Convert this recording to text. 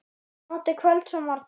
Notið kvölds og morgna.